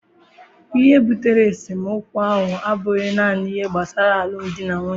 Ihe butere esemokwu ahụ abụghị naanị ihe gbasara alụmdi na nwunye